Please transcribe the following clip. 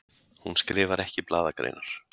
Hún skrifar ekki blaðagreinar.